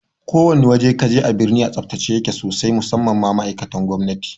Ko wane waje kaje a birni a tsaftace yake sosai musamman ma ma'aikatan gwamnati